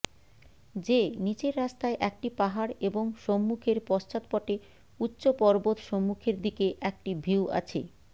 যে নীচের রাস্তায় একটি পাহাড় এবং সম্মুখের পশ্চাদপটে উচ্চ পর্বত সম্মুখের দিকে একটি ভিউ আছে